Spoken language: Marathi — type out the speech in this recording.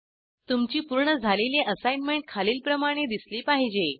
तुमची पूर्ण झालेली असाईनमेंट खालीलप्रमाणे दिसली पाहिजे